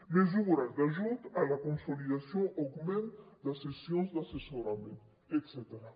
mesures d’ajut a la consolidació o augment de sessions d’assessorament etcètera